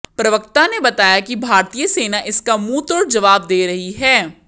प्रवक्ता ने बताया कि भारतीय सेना इसका मुंहतोड़ जवाब दे रही है